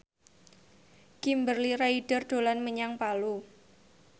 Kimberly Ryder dolan menyang Palu